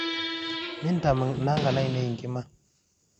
Mintam nangan ainie nkima